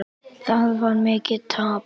Það varð mikið tap.